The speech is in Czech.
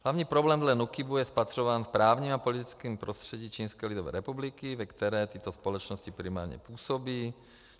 Hlavní problém dle NÚKIBu je spatřován v právním a politickém prostředí Čínské lidové republiky, ve které tyto společnosti primárně působí.